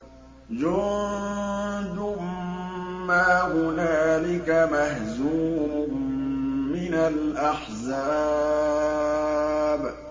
جُندٌ مَّا هُنَالِكَ مَهْزُومٌ مِّنَ الْأَحْزَابِ